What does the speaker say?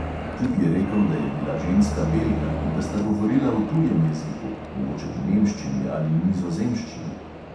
Tip je rekel, da je bila ženska belka in da sta govorila v tujem jeziku, mogoče v nemščini ali nizozemščini.